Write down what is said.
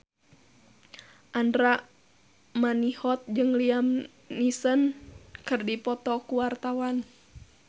Andra Manihot jeung Liam Neeson keur dipoto ku wartawan